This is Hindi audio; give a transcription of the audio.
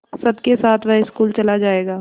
सबके साथ वह स्कूल चला जायेगा